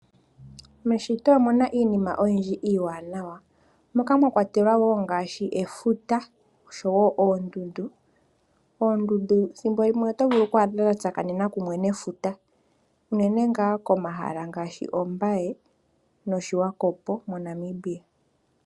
Meshito omuna iinima oyindji iiwanawa, moka mwa kwatelwa wo ngaashi efuta, noshowo oondundu. Oondundu ethimbo limwe oto dha tsakanena kumwe nefuta unene tuu komahala ngaashi Ombaye noSwakopo moNamibia.